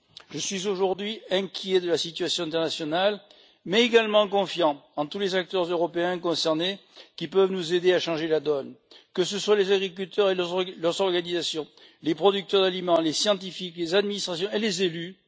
Je suis aujourd'hui inquiet de la situation internationale, mais j'ai également confiance en tous les acteurs européens concernés qui peuvent nous aider à changer la donne, que ce soit les agriculteurs et leurs organisations, les producteurs d'aliments, les scientifiques, les administrations et les élus.